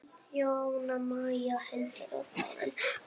Jóna Maja, Hildur og Þórunn.